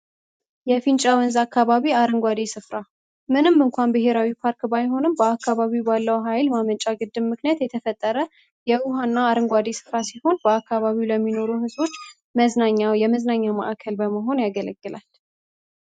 የፊንጫ ወንዝ አከባቢ አረንጓዴ ስፍራ ብሔራዊ ፓርክ ባይሆንም በአካባቢ ባለው ሃይል ማመንጫ ግድብ ምክንያት የተፈጠረ የውሃና አረንጓዴ በአካባቢው ለሚኖሩ ህዝቦች መዝናኛ የመዝናኛ ማእከል በመሆን ያገለግላል።